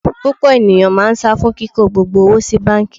Púpọ̀ ènìyàn máa sá fún kíko gbogbo owó sí báńkì.